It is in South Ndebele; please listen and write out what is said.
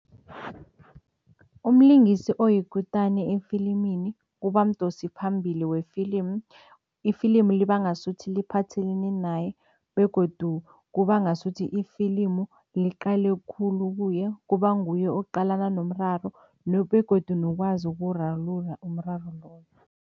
Umlingisi oyikutani efilimini kuba mdosiphambili wefilimi. Ifilimu liba ngasuthi liphathelene naye begodu kuba ngasuthi ifilimu liqale khulu kuye, kuba nguye oqalana nomraro begodu nokwazi ukuwurarulula umraro loyo.